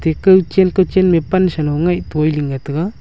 te caw chen caw chen me pansa low nag toi le tega.